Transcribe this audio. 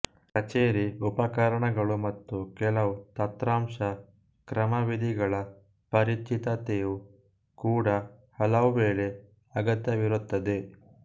ಕಚೇರಿ ಉಪಕರಣಗಳು ಮತ್ತು ಕೆಲವು ತಂತ್ರಾಂಶ ಕ್ರಮವಿಧಿಗಳ ಪರಿಚಿತತೆಯು ಕೂಡ ಹಲವುವೇಳೆ ಅಗತ್ಯವಿರುತ್ತದೆ